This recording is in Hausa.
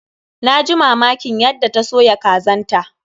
Na ji mamakin yadda ta soya kazan ta.